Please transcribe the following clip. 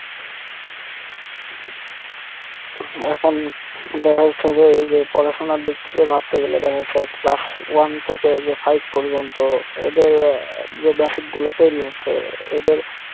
এখন দেখা যাচ্ছে যে এই যে পড়াশোনার দিক থেকে ভাবতে গেলে দেখা যাচ্ছে class one থেকে এইযে five পর্যন্ত এদের আহ যে basic গুলো তৈরী হচ্ছে এদের